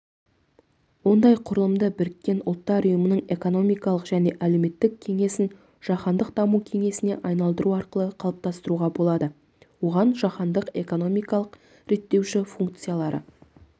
ондай құрылымды біріккен ұлттар ұйымының экономикалық және әлеуметтік кеңесін жаһандық даму кеңесіне айналдыру арқылы қалыптастыруға болады оған жаһандық экономикалық реттеуші функциялары